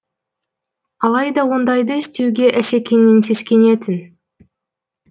алайда ондайды істеуге асекеңнен сескенетін